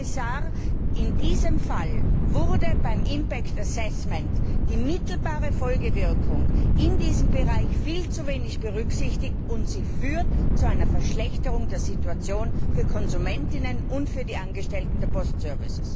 Herr Kommissar, in diesem Fall wurde beim impact assessment die mittelbare Folgewirkung in diesem Bereich viel zu wenig berücksichtigt, und dies führt zu einer Verschlechterung der Situation für die Konsumenten und die Angestellten der Postdienste.